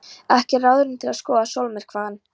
Ekki ráðrúm til að skoða sólmyrkvann.